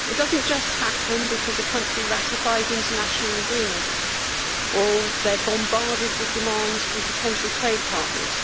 it does not just happen because a country ratifies international agreements or they are bombarded with demands from potential trade partners.